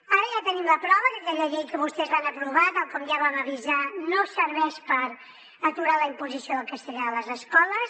ara ja tenim la prova que aquella llei que vostès van aprovar tal com ja vam avisar no serveix per aturar la imposició del castellà a les escoles